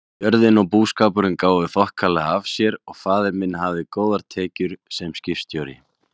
Jörðin og búskapurinn gáfu þokkalega af sér og faðir minn hafði góðar tekjur sem skipstjóri.